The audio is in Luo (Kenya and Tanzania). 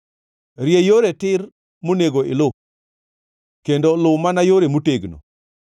Rie yore tir monego iluw kendo luw mana yore motegno.